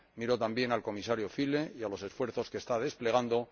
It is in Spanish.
Miro también al Comisario Füle y a los esfuerzos que está desplegando.